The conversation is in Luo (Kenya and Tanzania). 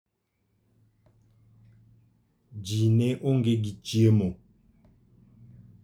Ji ne onge gi chiemo.